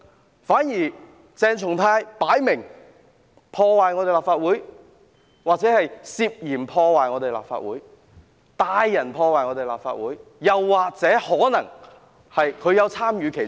相反，鄭松泰議員分明破壞立法會大樓——或涉嫌破壞立法會大樓、帶人破壞立法會大樓，說不定他可能也有參與其中。